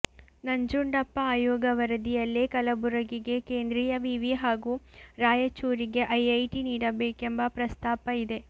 ನಂಜುಂಡಪ್ಪ ಆಯೋಗ ವರದಿಯಲ್ಲೇ ಕಲಬುರಗಿಗೆ ಕೇಂದ್ರೀಯ ವಿವಿ ಹಾಗೂ ರಾಯಚೂರಿಗೆ ಐಐಟಿ ನೀಡಬೇಕೆಂಬ ಪ್ರಸ್ತಾಪ ಇದೆ